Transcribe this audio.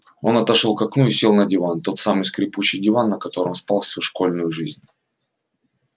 он отошёл к окну и сел на диван тот самый скрипучий диван на котором спал всю школьную жизнь